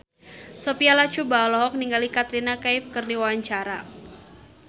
Sophia Latjuba olohok ningali Katrina Kaif keur diwawancara